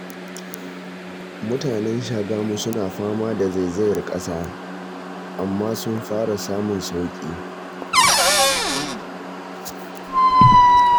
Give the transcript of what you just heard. Mutanen Shagamu suna fama da zaizayar ƙasa, amma sun fara samun sauƙi